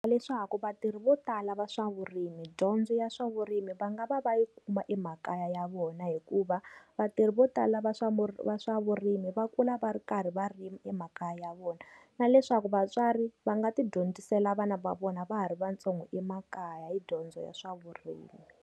Leswaku vatirhi vo tala va swa vurimi dyondzo ya swa vurimi va nga va va yi kuma emakaya ya vona hikuva vatirhi vo tala va swa va swa vurimi va kula va ri karhi va rima emakaya ya vona. Na leswaku vatswari va nga ti dyondzisela vana va vona va ha ri va ntsongo emakaya hi dyondzo ya swa vurimi.